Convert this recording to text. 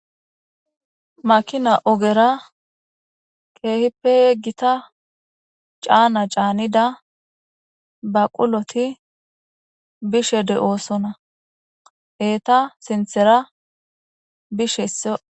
Makina ogera keehippe gita cana canida baquloti bishe de'osona , eta sinthera bishe toph..